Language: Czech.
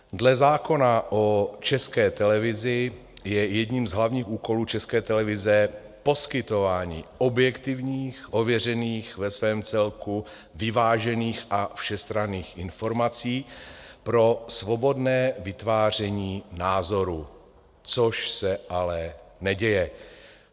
Dle zákona o České televizi je jedním z hlavních úkolů České televize poskytování objektivních, ověřených, ve svém celku vyvážených a všestranných informací pro svobodné vytváření názoru, což se ale neděje.